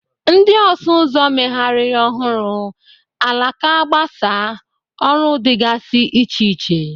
Ndị ọsụ ụzọ megharịrị ọhụrụ, alaka gbasaa, ọrụ dịgasị iche iche.